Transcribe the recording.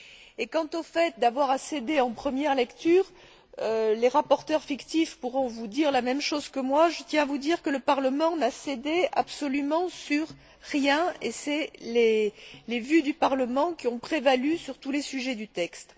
Et quant au fait d'avoir à céder en première lecture, les rapporteurs fictifs pourront vous dire la même chose que moi je tiens à vous dire que le Parlement n'a cédé absolument sur rien, et les vues du Parlement ont prévalu sur tous les sujets du texte.